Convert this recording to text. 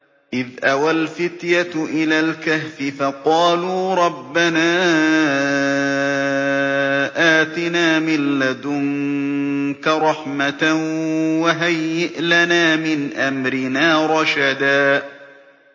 إِذْ أَوَى الْفِتْيَةُ إِلَى الْكَهْفِ فَقَالُوا رَبَّنَا آتِنَا مِن لَّدُنكَ رَحْمَةً وَهَيِّئْ لَنَا مِنْ أَمْرِنَا رَشَدًا